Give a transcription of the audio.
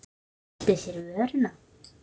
Og merkti sér vöruna.